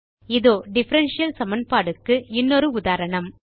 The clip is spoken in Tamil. இதோ டிஃபரன்ஷியல் சமன்பாடுக்கு இன்னொரு உதாரணம்